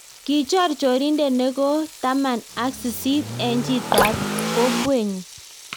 Kichoor chorinte nekoo taman ak sisit eng chitap kokwee nyuu.